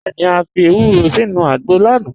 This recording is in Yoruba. Bẹẹni, à fi èwúrò sínu àgbọ̀ lánà.